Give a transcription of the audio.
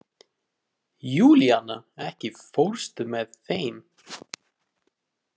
Júlíana, ekki fórstu með þeim?